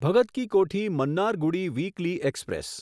Bhagat ki Kothi Mannargudi weekly express